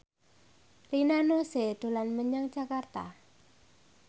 Rina Nose dolan menyang Jakarta